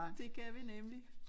Det kan vi nemlig